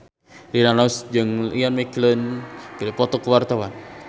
Rina Nose jeung Ian McKellen keur dipoto ku wartawan